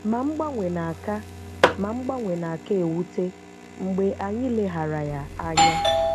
Ma mgbanwe na-aka Ma mgbanwe na-aka ewute mgbe anyị leghara ya anya.